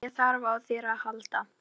Þegar ég þarf á þér að halda.